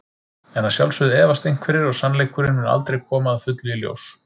En að sjálfsögðu efast einhverjir og sannleikurinn mun aldrei koma að fullu í ljós.